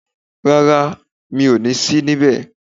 Rárá, mi o ní sí ńbẹ̀